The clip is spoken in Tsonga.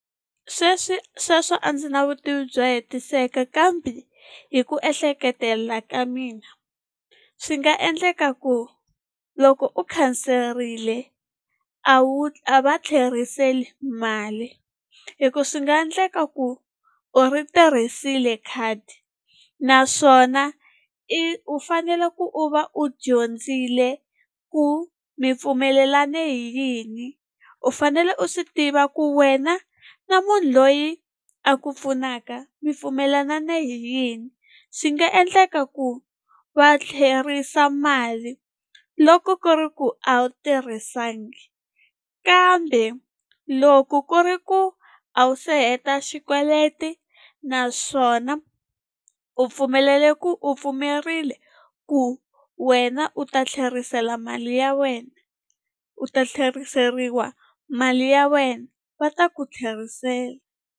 Sweswi sweswo a ndzi na vutivi byo hetiseka kambe hi ku ehleketelela ka mina swi nga endleka ku loko u khanserile a wu a va tlheriseli mali, hi ku swi nga endleka ku u ri tirhisile khadi naswona i u fanele ku u va u dyondzile ku mi pfumelelane hi yini. U fanele u swi tiva ku wena na munhu loyi a ku pfunaka mi pfumelelane hi yini swi nga endleka ku va tlherisa mali loko ku ri ku a wu tirhisanga. Kambe loko ku ri ku a wu se heta xikweleti naswona u pfumelele ku u pfumerile ku wena u ta tlherisela mali ya wena u ta tlheriseriwa mali ya wena va ta ku tlherisela.